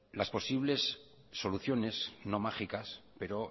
las posibles soluciones no mágicas pero